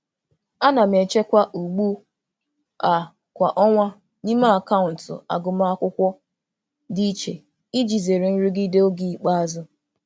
Ana m echekwa ugbu a kwa ọnwa n'ime akaụntụ agụmakwụkwọ dị iche iji zere nrụgide oge ikpeazụ.